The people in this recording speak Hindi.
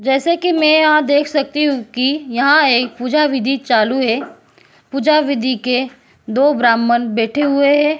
जैसे की मैं यहां देख सकती हूं कि यहाँ एक पूजा विधि चालू है पूजा विधि के दो ब्राह्मण बैठे हुए हैं।